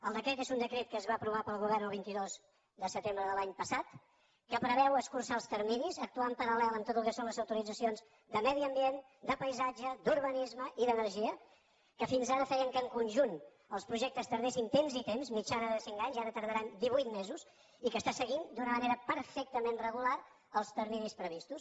el decret és un decret que va aprovar el govern el vint dos de setembre de l’any passat que preveu escurçar els terminis actuar en paral·lel en tot el que són les autoritzacions de medi ambient de paisatge d’urbanisme i d’energia que fins ara feien que en conjunt els projectes tardessin temps i temps mitjana de cinc anys i ara tardaran divuit mesos i que està seguint d’una manera perfectament regular els terminis previstos